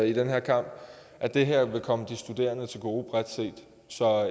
i den her kamp at det her vil komme de studerende til gode så